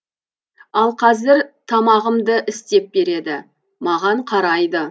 ал қазір тамағымды істеп береді маған қарайды